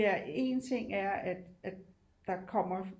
Ja en ting er at der kommer